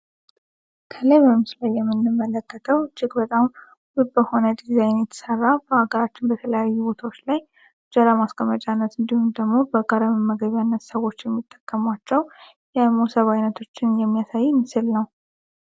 ከላይ በምስሉ ላይ የምንመለከተው እጅግ ውብ በሆነ ዲዛይን የተሰራ በሀገራችን የተለያዩ ቦታዎች ላይ ለእንጀራ ማስቀመጫነት እንዲሁም ደግሞ ለጋራ መመገቢያነት ሰዎች የሚጠቀሟቸው የሞሰብ አይነት የሚያሳየን ምስል ነው።